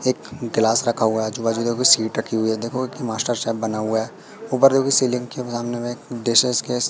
एक ग्लास रखा हुआ है आजू-बाजू देखो सीट रखी हुई है देखो एक मास्टर शेफ बना हुआ है ऊपर देखो सीलिंग के सामने में एक डिशेस केश --